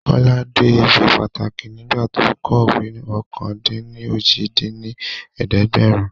Kọ́lá dé ibi pàtàkì nígbà tó kọ̀wé ọ̀kan-dín-ní-ojì dín ní ẹ̀ẹ́dẹ́gbẹ́rún